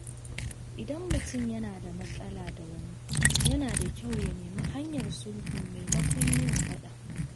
Idan mutum yana da matsala da wani, yana da kyau ya nemi hanyar sulhu maimakon yin faɗa.